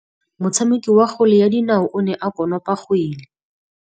Motshameki wa kgwele ya dinaô o ne a konopa kgwele.